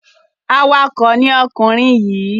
Awakọ̀ ni ọkùnrin yìí.